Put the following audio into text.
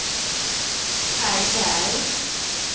Kaj Berg